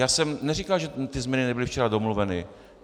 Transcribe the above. Já jsem neříkal, že ty změny nebyly včera domluveny.